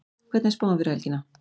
hvernig er spáin fyrir helgina